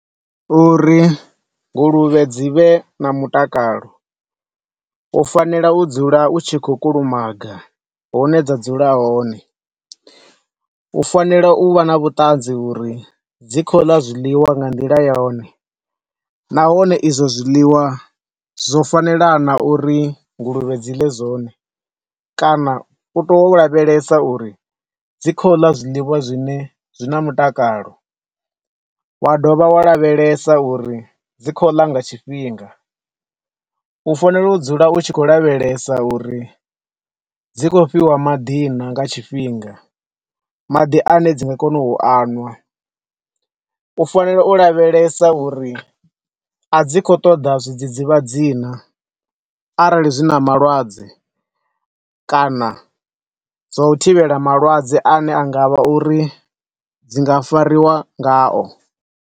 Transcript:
Uri nguluvhe dzi vhe na mutakalo u fanela u dzula u tshi khou kulumaga hune dza dzula hone. U fanela u vha na vhuṱanzi uri dzi khou ḽa zwiḽiwa nga nḓila yone, nahone izwo zwiḽiwa zwo fanela naa, uri nguluvhe dzi ḽe zwone, kana u teya u lavhelesa uri dzi khou ḽa zwiḽiwa zwine zwina mutakalo. Wa dovha wa lavhelesa uri dzi khou ḽa nga tshifhinga. U fanela u dzula u tshi khou lavhelesa uri dzi khou fhiwa maḓi naa, nga tshifhinga, maḓi ane dzi nga kona u aṅwa. U fanela u lavhelesa uri a dzi khou ṱoḓa zwidzidzivhadzi naa, arali dzina malwadze kana zwa u thivhela malwadze ane anga vha uri dzi nga fariwa nga o.